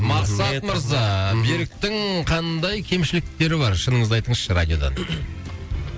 мақсат мырза беріктің қандай кемшіліктері бар шыныңызды айтыңызшы радиодан